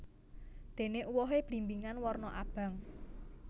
Dene uwohe blimbingan warna abang